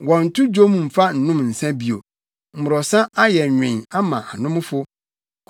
Wɔnnto dwom mfa nnom nsa bio; mmorɔsa ayɛ nwen ama anomfo.